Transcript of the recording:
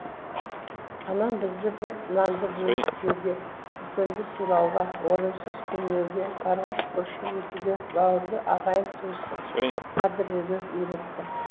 анам бізді бір нанды бөліп жеуге үлкенді сыйлауға орынсыз күлмеуге барға шүкіршілік етуге бауырды ағайын туысты қадірлеуге үйретті